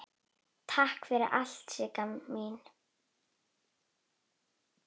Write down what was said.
Takk fyrir allt Sigga mín.